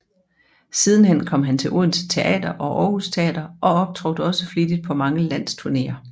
Sidenhen kom han til Odense Teater og Århus Teater og optrådte også flittigt på mange landsturnéer